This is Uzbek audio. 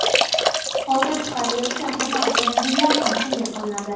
Hozir chiqarilayotgan qimmat avtomobillar ham shunday qilinadi.